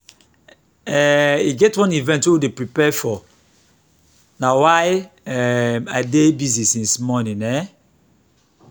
um e get one event wey we dey prepare for na why um i dey busy since morning um